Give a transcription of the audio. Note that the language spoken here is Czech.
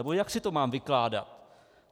Nebo jak si to mám vykládat?